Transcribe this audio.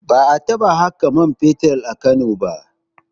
Ba a taɓa haƙo man fetur a Kano ba